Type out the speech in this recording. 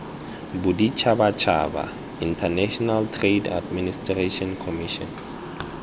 boditshabatshaba international trade administration commission